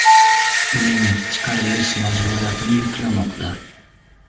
Uning chiqarilishini ta’minlash majburiyatini yuklamoqda.